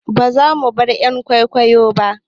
Ba zamu bar "yan kwikwiyon ba